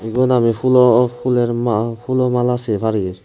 ebon ami pulo puler ma pulo mala se parir.